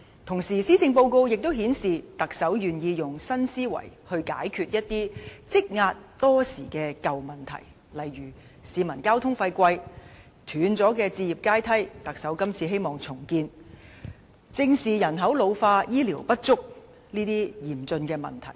同時，施政報告亦顯示，特首願意以新思維來解決一些積壓多時的舊問題，例如昂貴的交通費、斷裂的置業階梯——特首希望能重建，以及正視人口老化、醫療服務不足等嚴峻問題。